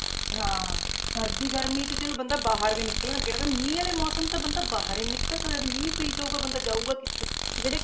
ਹਾਂ ਹਾਂ ਸਰਦੀ ਗਰਮੀ 'ਚ ਚੱਲ ਬੰਦਾ ਬਾਹਰ ਵੀ ਨਿਕਲ ਲੈਂਦਾ ਪਰ ਨਾ ਮੀਂਹ ਵਾਲੇ ਮੌਸਮ 'ਚ ਤਾਂ ਬੰਦਾ ਬਾਹਰ ਹੀ ਨੀ ਨਿਕਲ ਸਕਦਾ ਮੀਂਹ ਪਈ ਜਾਊਗਾ ਬੰਦਾ ਜਾਊਗਾ ਕਿੱਥੇ ਜਿਹੜੇ,